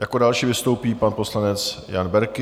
Jako další vystoupí pan poslanec Jan Berki.